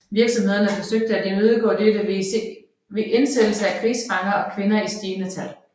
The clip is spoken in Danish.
Virksomhederne forsøgte at imødegå dette med indsættelse af krigsfanger og kvinder i stigende tal